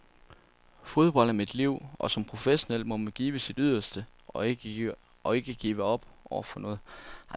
Fodbold er mit liv, og som professionel må man give sit yderste og ikke give op over for noget.